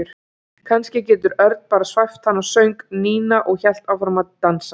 Kannski getur Örn bara svæft hana söng Nína og hélt áfram að dansa.